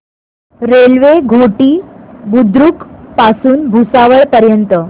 railway Ghoti Budruk पासून भुसावळ पर्यंत